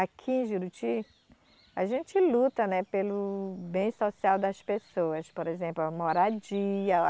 Aqui em Juruti, a gente luta, né, pelo bem social das pessoas, por exemplo, a moradia.